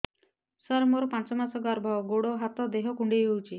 ସାର ମୋର ପାଞ୍ଚ ମାସ ଗର୍ଭ ଗୋଡ ହାତ ଦେହ କୁଣ୍ଡେଇ ହେଉଛି